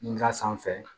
N ka sanfɛ